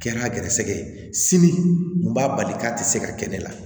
Kɛra gɛrisigɛ ye seli n b'a bali k'a tɛ se ka kɛ ne la